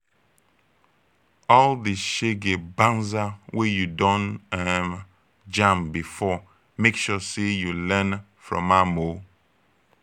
all di shege banza wey yu don um jam bifor mek sure sey yu learn from am o